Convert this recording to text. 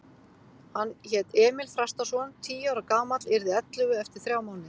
Hann hét Emil Þrastarson, tíu ára gamall, yrði ellefu eftir þrjá mánuði.